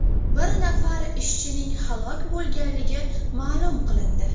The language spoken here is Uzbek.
Bir nafar ishchining halok bo‘lganligi ma’lum qilindi.